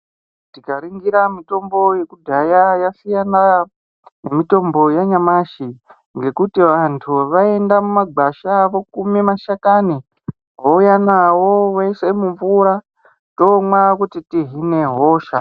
Tikaringira mitombo yekudhaya yasiyana nemitombo yanyamashi. Ngekuti vantu vaienda mumagwasha vokume mashakani vouya navo voise mumvura tomwa kuti tihine hosha.